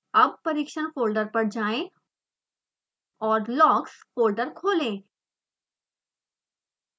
अब परीक्षण फोल्डर पर जाएँ और logs फोल्डर खोलें